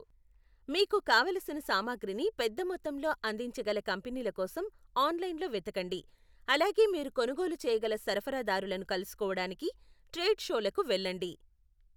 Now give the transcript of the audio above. మీకు కావలసిన సామాగ్రిని పెద్దమొత్తంలో అందించగల కంపెనీలకోసం ఆన్లైన్లో వెతకండి, అలాగే మీరు కొనుగోలు చేయగల సరఫరదారులను కలుసుకోవడానికి ట్రేడ్ షోలకు వెళ్ళండి.